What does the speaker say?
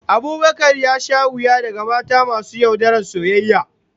Abubakar ya sha wuya daga mata masu yaudarar soyayya